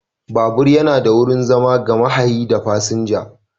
Babur yana da wurin zama ga mahayi da fasinja.